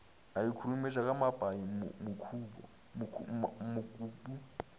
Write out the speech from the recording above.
a ikhurumetša ka mapai mokopu